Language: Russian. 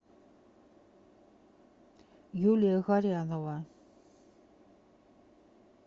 юлия горянова